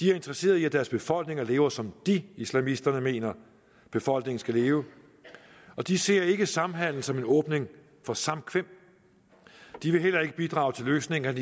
de er interesseret i at deres befolkninger lever som de islamisterne mener befolkningen skal leve og de ser ikke samhandel som en åbning for samkvem de vil heller ikke bidrage til løsningen